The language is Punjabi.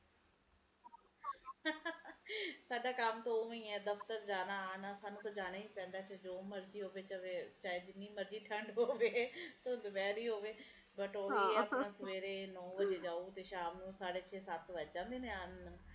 ਸਾਡਾ ਕੰਮ ਤੇ ਓਵੇ ਐ ਦਫਤਰ ਜਾਣਾ ਆਉਣਾ ਸਾਨੂੰ ਤੇ ਜਾਣਾ ਹੀ ਪੈਂਦਾ ਜੋ ਮਰਜ਼ੀ ਹੋਵੇ ਜਾਵੇ ਚਾਹੇ ਜਿੰਨੇ ਮਰਜ਼ੀ ਠੰਡ ਪਵੇ ਧੁੰਦ ਪੈ ਰਹੀ ਹੋਵੇ but ਓਹੀ ਐ ਸਵੇਰੇ ਨੌ ਵਜੇ ਜਾਓ ਤੇ ਸ਼ਾਮ ਨੂੰ ਸਾਢੇ ਸ਼ੇ ਸਤਿ ਵੱਜ ਜਾਂਦੇ ਨੇ ਆਣ